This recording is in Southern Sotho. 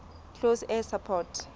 close air support